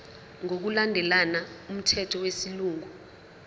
ngokulandela umthetho wesilungu